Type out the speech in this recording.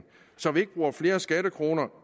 så vi ikke bruger flere skattekroner